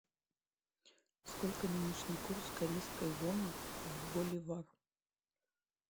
сколько нынешний курс корейской воны в боливар